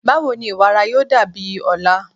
Bawo ni iwara yoo dabi ọla?